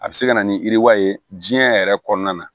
A bɛ se ka na ni yiriwa ye diɲɛ yɛrɛ kɔnɔna na